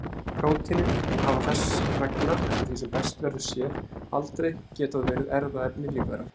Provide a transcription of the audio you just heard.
Prótínin hafa þess vegna eftir því sem best verður séð aldrei getað verið erfðaefni lífvera.